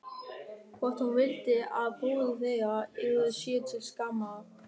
Hvort hún vildi að bróðir þeirra yrði sér til skammar?